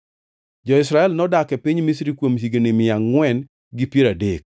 Jo-Israel nodak e piny Misri kuom higni mia angʼwen gi piero adek.